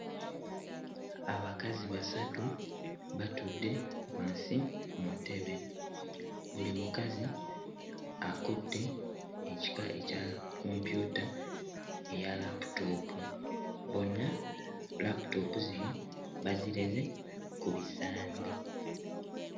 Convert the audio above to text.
Abakazi basatu batudde wansi ku ntebe buli mukazi akutte ekika ekya kompyuta eya laputoopu bonna laputoopu zino bazireze ku bisambi.